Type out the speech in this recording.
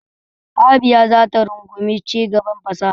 Abia za ta rungumi cigaban fasaha.